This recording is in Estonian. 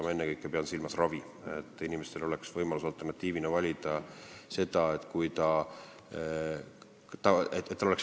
Ennekõike pean silmas ravi, inimesel peab olema võimalus seda alternatiivina valida.